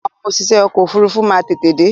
Àwọn òṣìṣẹ́ ọkọ̀ ofúrufú má n tètè dé